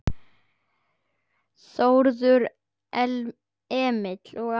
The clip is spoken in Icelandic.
Þórður Emil og Aron